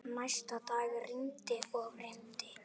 Næsta dag rigndi og rigndi.